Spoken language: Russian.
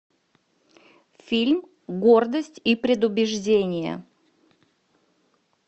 фильм гордость и предубеждение